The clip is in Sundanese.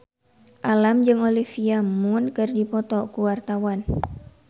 Alam jeung Olivia Munn keur dipoto ku wartawan